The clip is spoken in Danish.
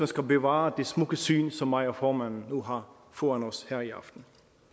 skal bevare det smukke syn som mig og formanden nu har foran os her i aften